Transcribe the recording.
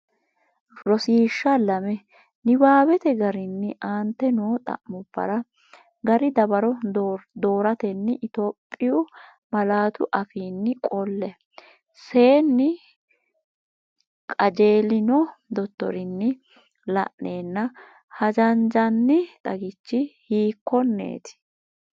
Rosiishsha Lame Niwaawete garinni aante noo xa’mubbara gari dawaro dooratenni Itophi malaatu afiinni qolle, senni qajeelino dottorinni la’neenna hajanjanni xagichi hiikkonneeti?